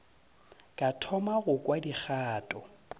ka thoma go kwa dikgato